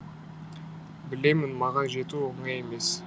білемін маған жету оңай емес